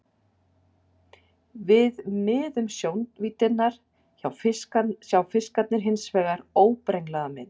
Við miðju sjónvíddarinnar sjá fiskarnir hins vegar óbrenglaða mynd.